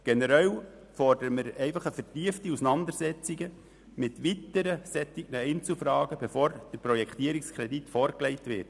Generell fordern wir die vertiefte Auseinandersetzung mit derartigen Einzelfragen, bevor der Projektierungskredit vorgelegt wird.